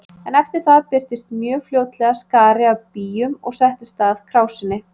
En eftir það birtist mjög fljótlega skari af býjum og settist að krásinni.